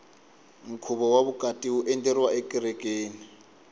nkhuvo wa vukati wu endleriwa ekerekeni